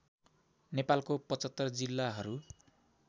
नेपालको ७५ जिल्लाहरू